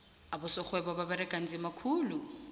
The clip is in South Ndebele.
abosorhwebo baberega nzima khulu